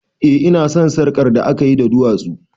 Eh ina son sarƙar da akayi da duwatsu